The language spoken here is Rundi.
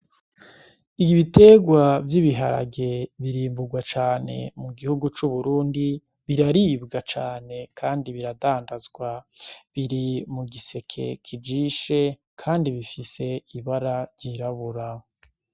Igi bitegwa vy'ibiharage birimburwa cane mu gihugu c'uburundi biraribwa cane, kandi biradandazwa biri mu giseke kijishe, kandi bifise ibara ryiraburaho.